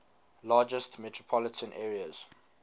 largest metropolitan areas